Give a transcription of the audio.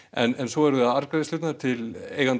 en svo eru það arðgreiðslurnar til eigenda